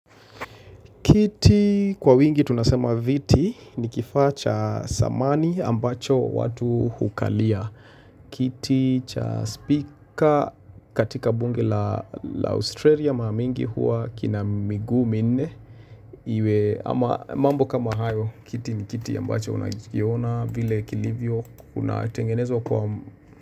Kiti kwa wingi tunasema viti ni kifaa cha samani ambacho watu hukalia. Kiti cha speaker katika bunge la Australia maa mingi huwa kina miguu minne. Iwe ama mambo kama hayo. Kiti ni kiti ambacho unakiona vile kilivyo unatengenezwa kwa.